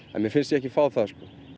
en mér finnst ég ekki fá það